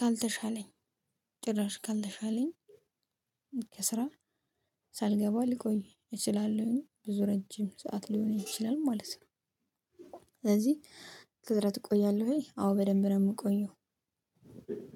ካልተሻለኝ ጭራሽ ካልተሻለኝ ከስራ ሳልገባ ልቆይ እችላለሁኝ ብዙ ረጅም ሰዓት ሊሆን ይችላል ማለት ነው። ስለዚህ ከስራ ትቆያለህ ወይ? አዎ በደንብ ነው የምቆየው።